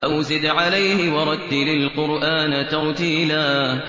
أَوْ زِدْ عَلَيْهِ وَرَتِّلِ الْقُرْآنَ تَرْتِيلًا